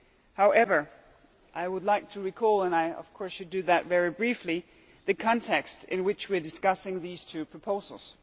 However, I would like to recall, and I should of course do that very briefly, the context in which we are discussing these two proposals.